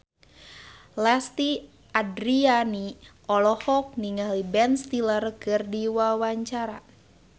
Lesti Andryani olohok ningali Ben Stiller keur diwawancara